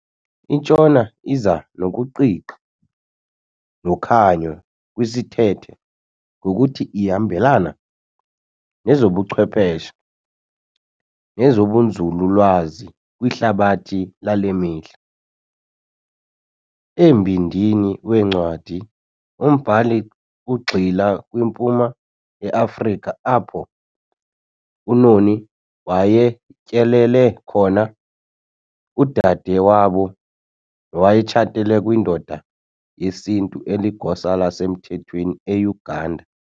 INtshona iza nokuqiqa nokhanyo kwisithethe ngokuthi ihambelana nezobuchwepheshe nezobunzululwazi kwihlabathi lale mihla. Embindini wencwadi umbhali ugxila kwiMpuma yeAfrika apho uNoni wayetyelele khona udade wabo nowayetshatele kwindoda yesiNtu eligosa lasemthethweni eUganda.